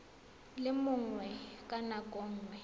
le mongwe ka nako nngwe